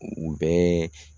U bɛɛɛ